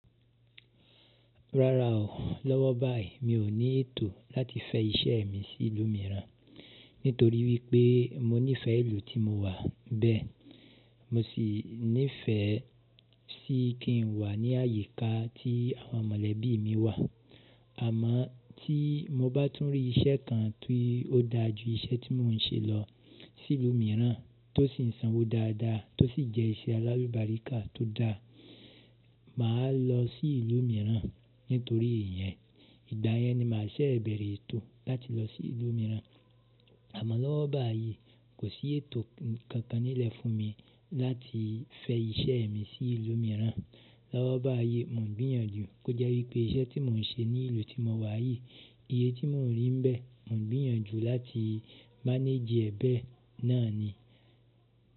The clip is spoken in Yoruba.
Rara o, lọ́wọ́ báyìí mi ò ní ètò láti fẹ iṣẹ́ mi sí ìlú mìíràn, nítorí wípé mo nífẹ̀ẹ́ ìlú tí mo wà bẹ́ẹ̀. Mo sì nífẹ̀ẹ́ sí kí n wà ní àyíká tí àwọn mọ̀lẹ́bí mi wà. Àmọ́ tí mo bá tún rí iṣẹ́ kan tí ó da ju iṣẹ́ tí mò ń ṣe lọ sí ìlú mìíràn tó sì sanwó dáadáa tó sì jẹ́ iṣẹ́ alálùbáríkà tó dáa, mà á lọ sí ìlú mìíràn nítorí iyẹn. Ìgba yen ni mà a ṣẹ̀ bẹ̀rẹ̀ ètò láti lọ sí ìlú mìíràn. Àmọ́ lọ́wọ́ báyìí kò sí ètò kankan nílẹ̀ fún mi láti fẹ iṣẹ́ mi sí ìlú mìíràn. Lọ́wọ́ báyìí mò ń gbìyànjú kó jẹ́ wípé iṣẹ́ tí mò ń ṣe ní ìlú tí mo wà yìí, iye tí mò ń rí ń bẹ́ẹ̀, mò ń gbìyànjú láti máneejì ẹ bẹ̀e náà ni.